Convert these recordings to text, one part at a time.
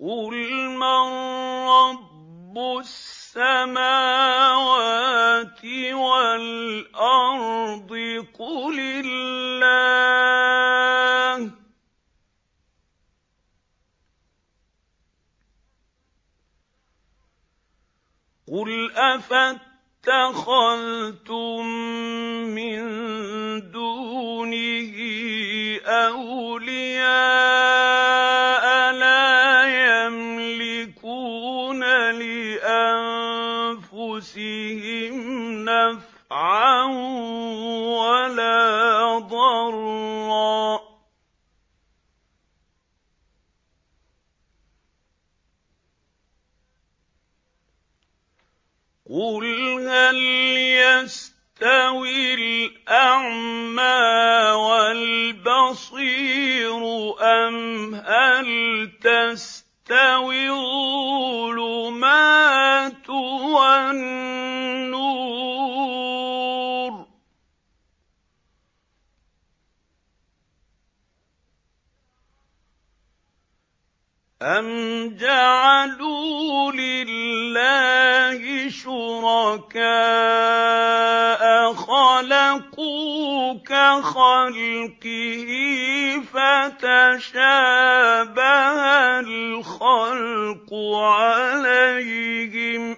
قُلْ مَن رَّبُّ السَّمَاوَاتِ وَالْأَرْضِ قُلِ اللَّهُ ۚ قُلْ أَفَاتَّخَذْتُم مِّن دُونِهِ أَوْلِيَاءَ لَا يَمْلِكُونَ لِأَنفُسِهِمْ نَفْعًا وَلَا ضَرًّا ۚ قُلْ هَلْ يَسْتَوِي الْأَعْمَىٰ وَالْبَصِيرُ أَمْ هَلْ تَسْتَوِي الظُّلُمَاتُ وَالنُّورُ ۗ أَمْ جَعَلُوا لِلَّهِ شُرَكَاءَ خَلَقُوا كَخَلْقِهِ فَتَشَابَهَ الْخَلْقُ عَلَيْهِمْ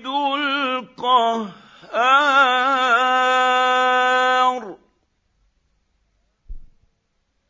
ۚ قُلِ اللَّهُ خَالِقُ كُلِّ شَيْءٍ وَهُوَ الْوَاحِدُ الْقَهَّارُ